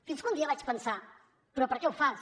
fins que un dia vaig pensar però per què ho fas